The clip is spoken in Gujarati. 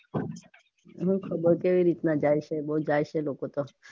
હું ખબર કઈ રીતે જાય છે બઉ જાય છે લોકો તો